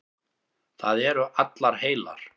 Það eru allar heilar.